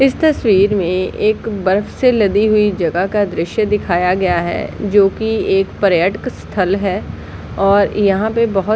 इस तस्वीर में एक बर्फ से लदी हुई जगह का द्रश्य दिखाया गया है जोकि एक पर्यटक स्थल है और यहाँ पे बहुत --